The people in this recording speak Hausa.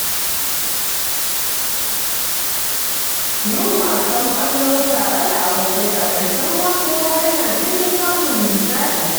Yin wasan ƙwallo tare da abokai a ƙarshen mako hanya ce ta samun nishadi.